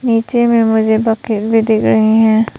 नीचे में मुझे बकेट भी दिख रहे हैं।